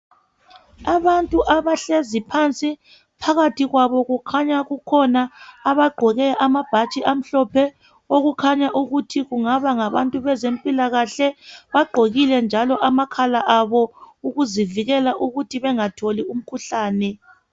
Abantu abahlezi phansi phakathi kwabo kukhanya kukhona abagqoke amabhatshi amhlophe okukhanya ukuthi kungaba ngabantu bezempilakahle bagqokile njalo amakhala abo ukuzivikela ukuthi bengatholi umkhuhlane.